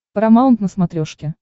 парамаунт на смотрешке